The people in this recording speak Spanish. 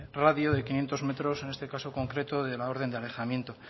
radio de quinientos metros en este caso concreto de la orden de alejamiento